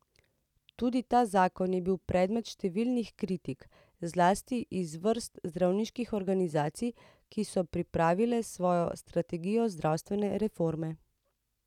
Tudi ta zakon je bil predmet številnih kritik, zlasti iz vrst zdravniških organizacij, ki so pripravile svojo strategijo zdravstvene reforme.